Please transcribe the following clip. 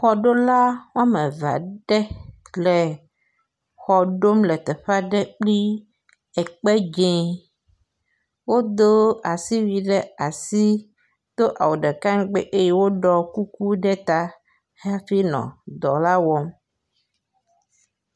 Xɔɖola wɔme eve aɖe le xɔ ɖom le teƒe aɖe kple ekpe dze wodo asiwui ɖe asi. Do awu ɖeka ŋgbi ɖo kuku ɖe ta hafi nɔ dɔ la wɔm.